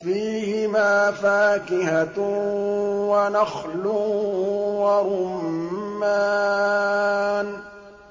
فِيهِمَا فَاكِهَةٌ وَنَخْلٌ وَرُمَّانٌ